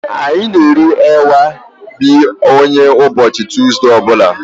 Anyị na eri agwa be anyị ụbọchị Tọzdee ọbụla